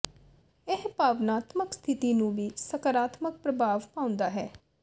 ਇਹ ਭਾਵਨਾਤਮਕ ਸਥਿਤੀ ਨੂੰ ਵੀ ਸਕਾਰਾਤਮਕ ਪ੍ਰਭਾਵ ਪਾਉਂਦਾ ਹੈ